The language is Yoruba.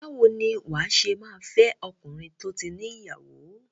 Báwo ni wà á ṣe máa fẹ́ ọkùnrin tó ti ní ìyàwó?